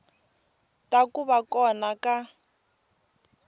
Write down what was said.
ta ku va kona ka